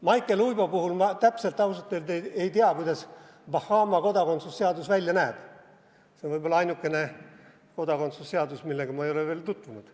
Maicel Uibo puhul ma ausalt öelda täpselt ei tea, kuidas Bahama kodakondsusseadus välja näeb, see on võib-olla ainukene kodakondsusseadus, millega ma ei ole veel tutvunud.